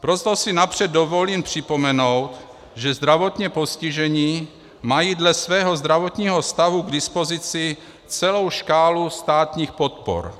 Proto si napřed dovolím připomenout, že zdravotně postižení mají dle svého zdravotního stavu k dispozici celou škálu státních podpor.